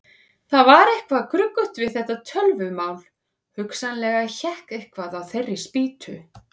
Það var eitthvað gruggugt við þetta tölvumál, hugsanlega hékk eitthvað á þeirri spýtu.